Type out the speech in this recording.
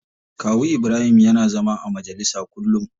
Kawu Ibrahim yana zama a majalisa kullum.